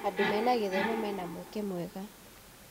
Andũ mena gĩthomo mena mweke mwega.